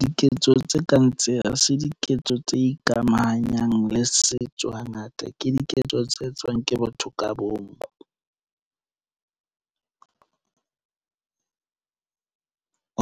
Diketso tse kang tse, ha se diketso tse ikamahanyang le setso hangata. Ke diketso tse etswang ke batho ka bomo ,